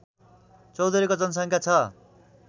चौधरीको जनसङ्ख्या छ